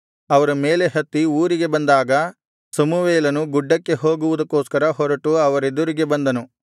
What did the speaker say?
ಅವರು ಮೇಲೆ ಹತ್ತಿ ಊರಿಗೆ ಬಂದಾಗ ಸಮುವೇಲನು ಗುಡ್ಡಕ್ಕೆ ಹೋಗುವುದಕ್ಕೋಸ್ಕರ ಹೊರಟು ಅವರೆದುರಿಗೆ ಬಂದನು